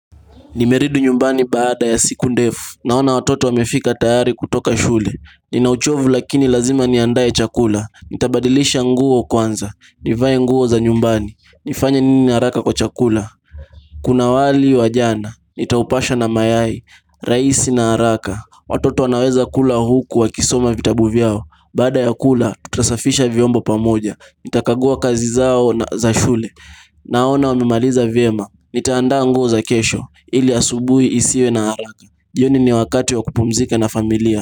Nimeridu nyumbani baada ya siku ndefu, naona watoto wamefika tayari kutoka shule Ninauchovu lakini lazima niandae chakula, nitabadilisha nguo kwanza, nivae nguo za nyumbani nifanye nini haraka kwa chakula, kuna wali wajana, nitaupasha na mayai, rahisi na haraka Watoto wanaweza kula huku wakisoma vitabu vyao, baada ya kula tutasafisha vyombo pamoja Nitakagua kazi zao za shule Naona wamimaliza vyema nitaanda nguo za kesho Ili asubuhi isiwe na haraka. Jioni ni wakati wa kupumzika na familia.